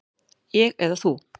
Ég eða þú?